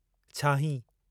छाहीं